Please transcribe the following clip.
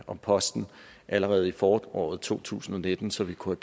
om posten allerede i foråret to tusind og nitten så vi kunne